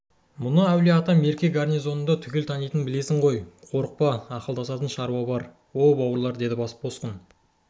мені әулие-ата мерке гарнизондары түгел танитынын білесің ғой қорықпа ақылдасатын шаруа бар оу бауырлар деді босқын